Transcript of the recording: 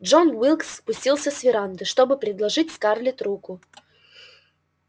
джон уилкс спустился с веранды чтобы предложить скарлетт руку